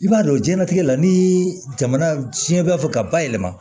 I b'a dɔn jiɲɛlatigɛ la ni jamana tiɲɛ b'a fɛ ka bayɛlɛma